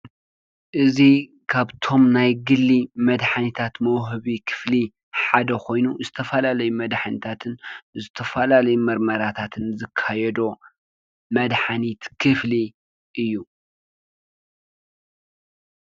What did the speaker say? እዚ ካብቶም ናይ ግሊ መድሓኒታት መውሃቢ ክፍሊ ሓደ ኮይኑ ዝተፈላለዩ መድሓኒታትን፣ ዝተፈላለዩ ምርመራታትን ዝካዮዶ መድሓኒት ክፍሊ እዩ።